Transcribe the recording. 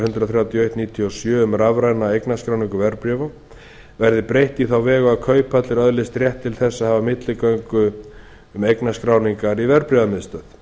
hundrað þrjátíu og eitt nítján hundruð níutíu og sjö um rafræna eignarskráningu verðbréfa verði breytt á þá vegu að kauphallir öðlist rétt til þess að hafa milligöngu um eignarskráningar í verðbréfamiðstöð